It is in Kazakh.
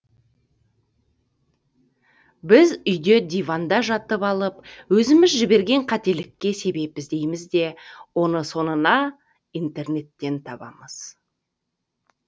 біз үйде диванда жатып алып өзіміз жіберген қателікке себеп іздейміз де оны соңында интернеттен табамыз